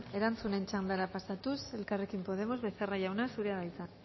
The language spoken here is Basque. erantzunen txandara pasatuz elkarrekin podemos becerra jauna zurea da hitza